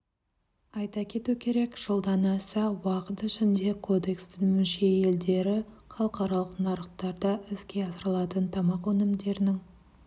айта кету керек жылдан аса уақыт ішінде кодекстің мүше елдері халықаралық нарықтарда іске асырылатын тамақ өнімдерінің